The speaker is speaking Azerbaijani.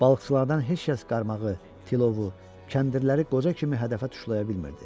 Balıqçılardan heç kəs qaramağı, tilovu, kəndirləri qoca kimi hədəfə tuşlaya bilmirdi.